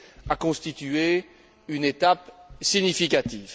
a constitué une étape significative.